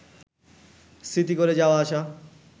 স্মৃতি করে যাওয়া আসা